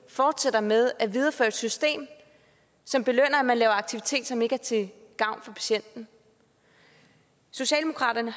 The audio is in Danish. fortsætter med at videreføre et system som belønner at man laver en aktivitet som ikke er til gavn for patienten socialdemokraterne